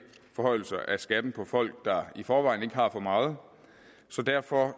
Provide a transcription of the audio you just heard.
forhøjelser af skatten for folk der i forvejen ikke har for meget så derfor